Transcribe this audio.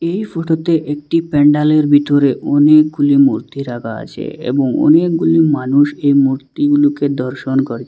এই ফটোতে একটি প্যান্ডালের ভিতরে অনেকগুলি মূর্তি রাখা আছে এবং অনেকগুলি মানুষ এই মুর্তিগুলোকে দর্শন কর--